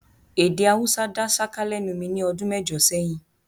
Èdè Haúsá dá ṣáká lẹ́nu mi ní ọdún mẹ́jọ sẹ́yìn